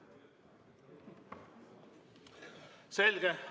Selge.